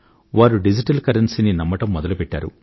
వారు digital currency ని నమ్మడం మొదలుపెట్టారు